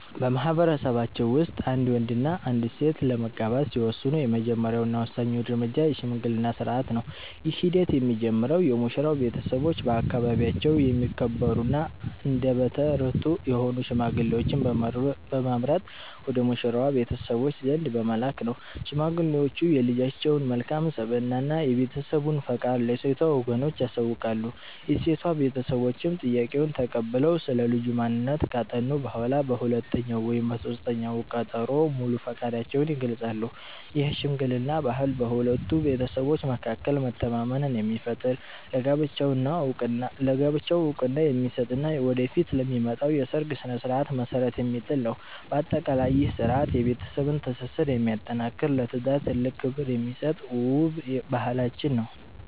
በማኅበረሰባችን ውስጥ አንድ ወንድና አንዲት ሴት ለመጋባት ሲወስኑ፣ የመጀመሪያውና ወሳኙ እርምጃ የሽምግልና ሥርዓት ነው። ይህ ሂደት የሚጀምረው የሙሽራው ቤተሰቦች በአካባቢያቸው የሚከበሩና አንደበተ ርትዑ የሆኑ ሽማግሌዎችን በመምረጥ ወደ ሙሽራዋ ቤተሰቦች ዘንድ በመላክ ነው። ሽማግሌዎቹ የልጃቸውን መልካም ስብዕና እና የቤተሰቡን ፈቃድ ለሴቷ ወገኖች ያሳውቃሉ። የሴቷ ቤተሰቦችም ጥያቄውን ተቀብለው ስለ ልጁ ማንነት ካጠኑ በኋላ፣ በሁለተኛው ወይም በሦስተኛው ቀጠሮ ሙሉ ፈቃዳቸውን ይገልጻሉ። ይህ የሽምግልና ባህል በሁለቱ ቤተሰቦች መካከል መተማመንን የሚፈጥር፣ ለጋብቻው ዕውቅና የሚሰጥ እና ወደፊት ለሚመጣው የሰርግ ሥነ ሥርዓት መሠረት የሚጥል ነው። በአጠቃላይ፣ ይህ ሥርዓት የቤተሰብን ትስስር የሚያጠናክርና ለትዳር ትልቅ ክብር የሚሰጥ ውብ ባህላችን ነው።